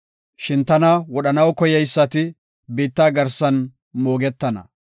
Shin tana wodhanaw koyeysati, biitta garsan moogetana.